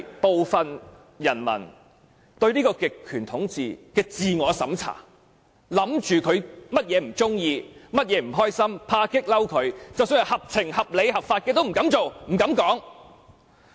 部分人民甚至進行自我審查，猜想極權者不喜歡甚麼，為何不開心，恐怕激怒他，即使是合情、合理、合法的事情也不敢做，不敢談論。